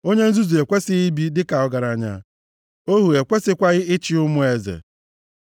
Onye nzuzu ekwesighị ibi dịka ọgaranya; ohu ekwesịkwaghị ịchị ụmụ eze.